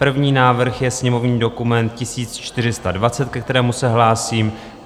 První návrh je sněmovní dokument 1420, ke kterému se hlásím.